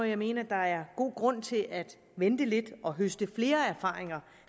jeg mene at der er god grund til at vente lidt og høste flere erfaringer